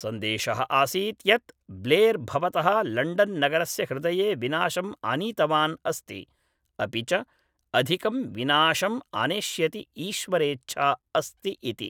सन्देशः आसीत् यत् ब्लेर् भवतः लण्डन् नगरस्य हृदये विनाशम् आनीतवान् अस्ति अपि च अधिकं विनाशम् आनेष्यति ईश्वरेच्छा अस्ति इति